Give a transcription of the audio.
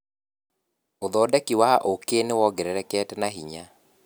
ũthondeki wa ũkĩ nĩwongererekete na hinya.